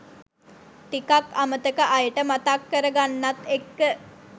ටිකක් අමතක අයට මතක් කරගන්නත් එක්ක